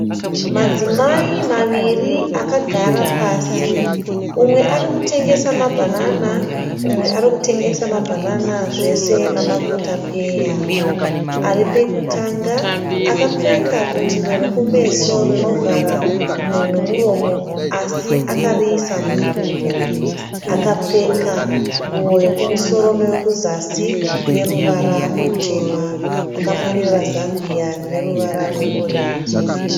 Madzimai maviri akagara pasi. Umwe ari kutengesa mabanana umwe arikutengesa mabanana zvese nama kotapeya. Aripekutanga akapfeka butiro rekumeso rinovhara mhuno nemuromo así akariisa muhuro. Akapfeka nguwo yekumusoro neye kuzasi ine ruvara rutema. Akamonera zambia rine ruvara rwe orenji.